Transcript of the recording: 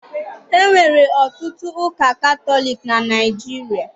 E nwere ọtụtụ ụka Katọlic na Naịjirịa.